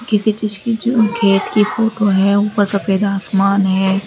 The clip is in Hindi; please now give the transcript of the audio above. किसी चीज की जो खेत की फोटो है ऊपर सफेद आसमान है।